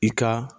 I ka